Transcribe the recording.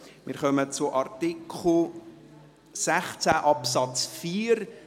Wir kommen zu Artikel 16 Absatz 4.